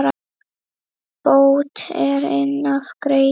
Bót er inn af græði.